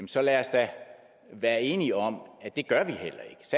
så lad os da være enige om